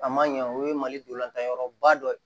A man ɲɛ o ye mali dolanyɔrɔba dɔ ye